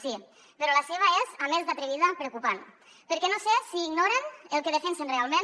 sí però la seva és a més d’atrevida preocupant perquè no sé si ignoren el que defensen realment